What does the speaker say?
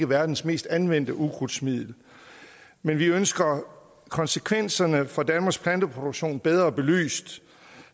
verdens mest anvendte ukrudtsmidler men vi ønsker konsekvenserne for danmarks planteproduktion bedre belyst